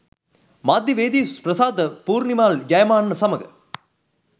මාධ්‍යවේදී ප්‍රසාද් පූර්නිමාල් ජයමාන්න සමඟ